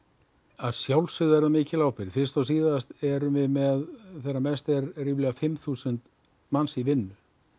að sjálfsögðu er það mikil ábyrgð fyrst og síðast erum við með þegar mest er ríflega fimm þúsund manns í vinnu